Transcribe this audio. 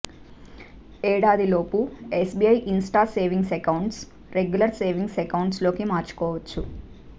ఏడాది లోపు SBI insta savings అకౌంట్ను రెగ్యులర్ సేవింగ్స్ అకౌంట్లోకి మార్చుకోవచ్చు